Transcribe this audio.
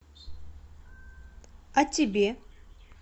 а тебе